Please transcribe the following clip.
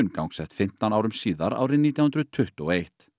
gangsett fimmtán árum síðar árið nítján hundruð tuttugu og eitt